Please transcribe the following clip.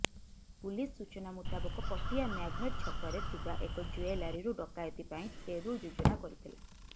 police ସୂଚନା ମୁତାବକ Patia Magnet ଛକରେ ଥିବା ଏକ ଜୁଏଲାରିରୁ ଡକାୟତି ପାଇଁ ଟେରୁ ଯୋଜନା କରିଥିଲା